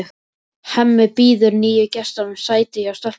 Hemmi býður nýju gestunum sæti hjá stelpunum.